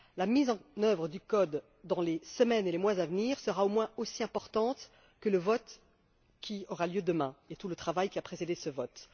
La mise en œuvre du code, dans les semaines et les mois à venir, sera au moins aussi importante que le vote qui aura lieu demain et que tout le travail qui a précédé ce vote.